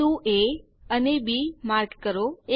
બિંદુ એ અને B mark કરો